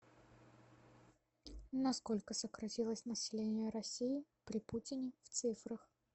на сколько сократилось население россии при путине в цифрах